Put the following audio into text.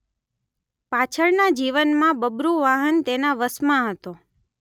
પાછળના જીવનમાં બબ્રુવાહન તેના વશમાં હતો